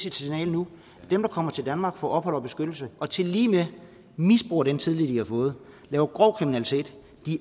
et signal nu dem der kommer til danmark får ophold og beskyttelse og tilligemed misbruger den tillid de har fået laver grov kriminalitet